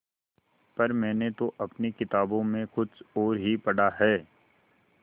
पर मैंने तो अपनी किताबों में कुछ और ही पढ़ा है